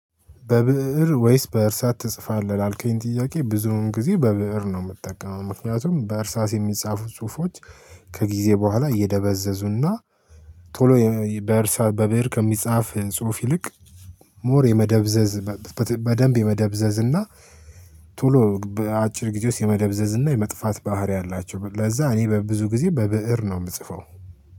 በብእር ወይስ በእርሳስ ትጽፋለህ አልከኝ? ጥያቄ ብዙውን ጊዜ በብእር ነው የምትጠቀመው። ምክንያቱም በእርሳስ የሚጻፉት ጽሁፎች ከጊዜ በኋላ እየደበዘዙና ቶሎ በእርሳስ በብሄር ከሚጻፍ ጽሁፍ ይልቅ ሞር የመደብዘዝ በደንብ የመደብዘዝ እና ቶሎ በአጭር ጊዜ ውስጥ የመደብዘዝ እና የመጥፋት ባህሪ አላቸው። ለዛ እኔ በብዙ ጊዜ በብእር ነው የምጽፈው።